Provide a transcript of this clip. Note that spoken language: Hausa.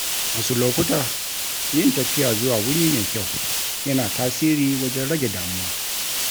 Wasu lokuta, yin tafiya zuwa wuri mai kyau, yana tasiri wajen rage damuwa.